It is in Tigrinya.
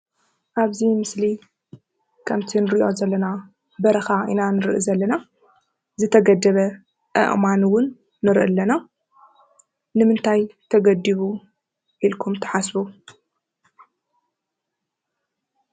ኣብዚ ምስሊ ከምቲ እንሪኦ ዘለና በረካ ኢና እንሪኢ ዘለና፡፡ ዝተገደበ ኣእማን እውን ንርኢ ኣለና፡፡ ንምንታይ ተገዲቡ ኢልኩም ትሓስቡ?